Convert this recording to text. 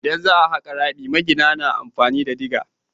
Idan za a haƙa rami magina na amfani da diga.